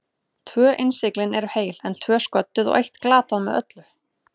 Tvö innsiglin eru heil, en tvö sködduð og eitt glatað með öllu.